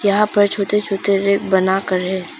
यहां पर छोटे छोटे रैक बनाकर है।